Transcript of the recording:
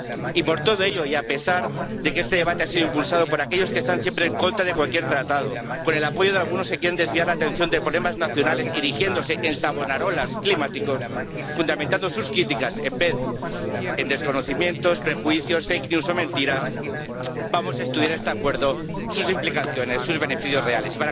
Y por todo ello, y a pesar de que este debate ha sido impulsado por aquellos que están siempre en contra de cualquier tratado ―con el apoyo de algunos que quieren desviar la atención de problemas nacionales erigiéndose en savonarolas climáticos, fundamentando sus críticas en desconocimiento, prejuicios, noticias falsas o mentiras―, vamos a estudiar este Acuerdo, sus implicaciones, sus beneficios reales.